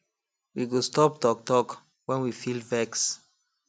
we go stop talk talk when we feel vex